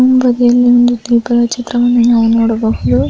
ಇತರ ಇರುವ ಒಂದು ಚಿತ್ರವನ್ನು ನಾವು ನೋಡಬಹುದು